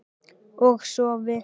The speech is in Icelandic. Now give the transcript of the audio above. Og sofi.